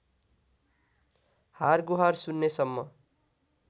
हारगुहार सुन्नेसम्म